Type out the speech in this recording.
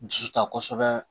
Ji ta kosɛbɛ